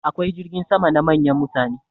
Akwai jirgin sama na manyan mutane.